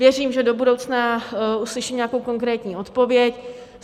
Věřím, že do budoucna uslyším nějakou konkrétní odpověď.